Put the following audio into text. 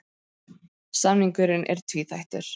Samningurinn er tvíþættur